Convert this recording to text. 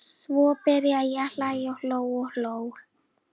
Svo byrjaði ég að hlæja og hló og hló.